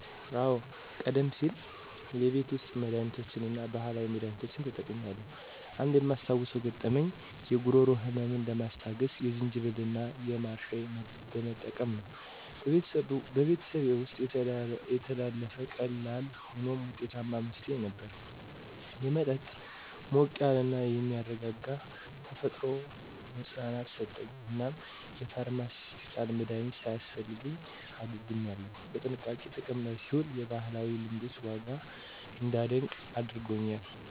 አዎ, ቀደም ሲል የቤት ውስጥ መድሃኒቶችን እና ባህላዊ መድሃኒቶችን ተጠቅሜያለሁ. አንድ የማስታውሰው ገጠመኝ የጉሮሮ ህመምን ለማስታገስ የዝንጅብል እና የማር ሻይ መጠቀም ነው። በቤተሰቤ ውስጥ የተላለፈ ቀላል ሆኖም ውጤታማ መፍትሄ ነበር። የመጠጥ ሞቅ ያለ እና የሚያረጋጋ ተፈጥሮ መፅናናትን ሰጠኝ፣ እናም የፋርማሲዩቲካል መድሀኒት ሳያስፈልገኝ አገግሜያለሁ። በጥንቃቄ ጥቅም ላይ ሲውል የባህላዊ ልምዶችን ዋጋ እንዳደንቅ አድርጎኛል.